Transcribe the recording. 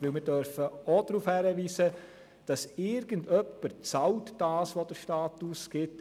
Denn wir dürfen auch darauf hinweisen, dass irgendjemand zahlt, was der Staat ausgibt.